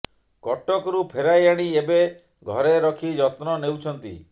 କଟକରୁ ଫେରାଇ ଆଣି ଏବେ ଘରେ ରଖି ଯତ୍ନ ନେଉଛନ୍ତି